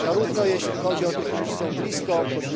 Zarówno jeśli chodzi o tych, którzy są blisko, np.